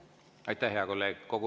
Aitäh, hea kolleeg!